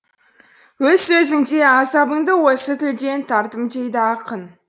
өз сөзінде азабымды осы тілден тарттым дейді ақын